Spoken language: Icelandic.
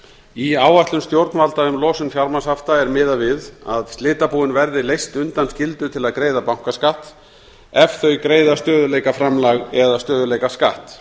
í áætlun stjórnvalda um losun fjármagnshafta er miðað við að slitabúin verði leyst undan skyldu til að greiða bankaskatt ef þau greiða stöðugleikaframlag eða stöðugleikaskatt